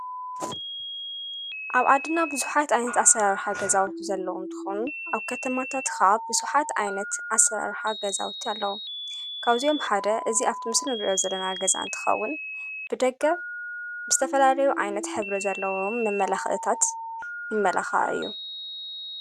ኣብ ኣድና ብዙሓት ኣይነት ኣሠራርኀ ገዛዊቱ ዘለዉም ትኹም ኣብ ከተማታትኻ ብሱሓት ኣይነት ኣሠራርሓ ገዛውቲ ኣለዉ ካውዚኦም ሓደ እዝ ኣብቶምስር መብልዮ ዘለና ገዛን ትኸውን ብደገብ ምስ ተፈላለዩ ዓይነት ሕብሪ ዘለዎም መመላኽእታት ይመላኻትእዩ።